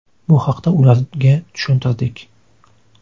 Bu haqda ularga tushuntirdik.